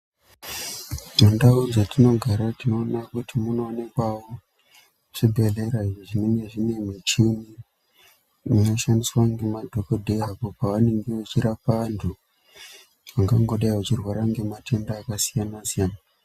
Dzimwe ndau dzatino gara tino ona kuti muno wanikwawo zvi bhedhlera izvi zvinenge zvine muchini ino shandiswa nge madhokodheya apo pavanenge ve chirapa vantu vanga ngodai vachi rwara nge matenda aka siyana siyana.